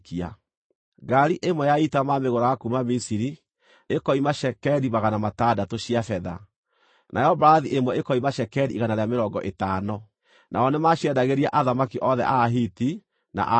Ngaari ĩmwe ya ita maamĩgũraga kuuma Misiri, ĩkoima cekeri magana matandatũ cia betha, nayo mbarathi ĩmwe ĩkoima cekeri igana rĩa mĩrongo ĩtano. Nao nĩmaciendagĩria athamaki othe a Ahiti na a Suriata.